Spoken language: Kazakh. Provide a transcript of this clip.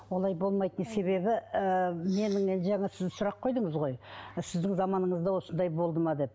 олай болмайтын себебі ііі менің жаңа сіз сұрақ қойдыңыз ғой сіздің заманыңызда осындай болды ма деп